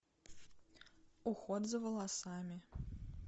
уход за волосами